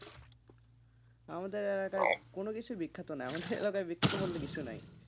আমাদের এলাকায় কোন কিছুই বিখ্যাত নয়, আমাদের এলাকায় বিখ্যাত বলতে কিছু নাই,